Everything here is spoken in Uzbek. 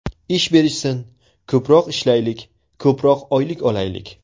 Ish berishsin, ko‘proq ishlaylik, ko‘proq oylik olaylik.